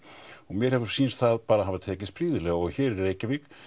og mér hefur sýnst það bara hafa tekist prýðilega og hér í Reykjavík